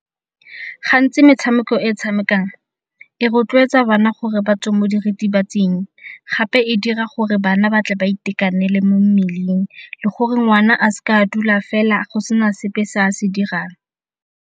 Gantsi metshameko e tshamekang e rotloetsa bana gore batswe mo diritibatsing gape e dira gore bana ba tle ba itekanele mo mmeleng le gore ngwana a seka a dula fela go sena sepe se a se dirang.